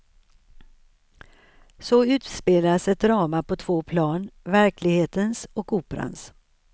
Så utspelas ett drama på två plan, verklighetens och operans.